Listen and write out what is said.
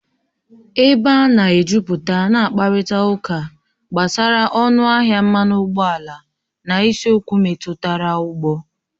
Ebe a na-ejuputa na-akparịta ụka gbasara ọnụ ahịa mmanụ ụgbọala na isiokwu metụtara ụgbọ